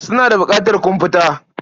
Suna da buƙatar komfuta.